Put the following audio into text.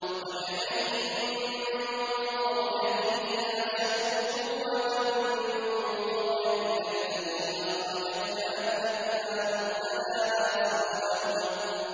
وَكَأَيِّن مِّن قَرْيَةٍ هِيَ أَشَدُّ قُوَّةً مِّن قَرْيَتِكَ الَّتِي أَخْرَجَتْكَ أَهْلَكْنَاهُمْ فَلَا نَاصِرَ لَهُمْ